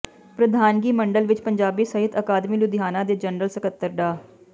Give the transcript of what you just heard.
ਪ੍ਰਧਾਨਗੀ ਮੰਡਲ ਵਿੱਚ ਪੰਜਾਬੀ ਸਾਹਿਤ ਅਕਾਦਮੀ ਲੁਧਿਆਣਾ ਦੇ ਜਨਰਲ ਸਕੱਤਰ ਡਾ